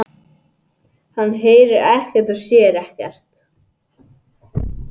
Hann heyrir ekkert og sér ekkert.